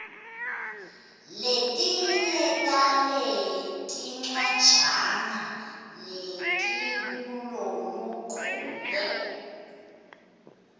letinye taletincwajana letikuloluchule